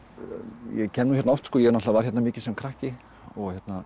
ég kem hérna oft var hérna mikið sem krakki og